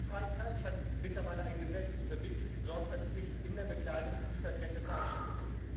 Frankreich hat mittlerweile ein Gesetz zur verbindlichen Sorgfaltspflicht in der Bekleidungslieferkette verabschiedet.